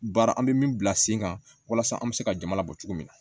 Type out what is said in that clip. Baara an bɛ min bila sen kan walasa an bɛ se ka jama labɔ cogo min na